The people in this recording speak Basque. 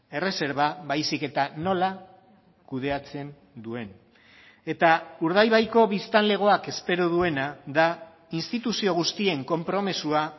erreserba baizik eta nola kudeatzen duen eta urdaibaiko biztanlegoak espero duena da instituzio guztien konpromisoa